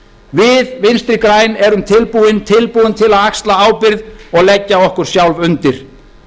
við vinstri græn erum tilbúin til að axla ábyrgð og leggja okkur sjálf undir